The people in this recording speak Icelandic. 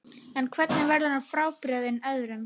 En hvernig verður hann frábrugðinn öðrum?